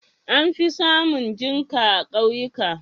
An fi samun jinƙa a ƙauyuka.